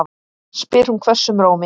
spyr hún hvössum rómi.